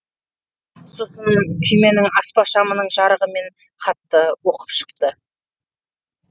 сосын күйменің аспа шамының жарығымен хатты оқып шықты